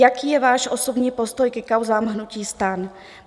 Jaký je váš osobní postoj ke kauzám hnutí STAN?